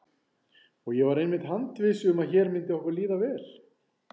Og ég var einmitt handviss um að hér myndi okkur líða vel.